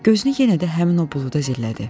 Gözünü yenə də həmin o buluda zillədi.